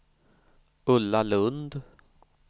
Ulla Lundh